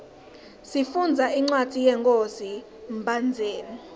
sifundza incwadzi yenkhosi mbhandzeni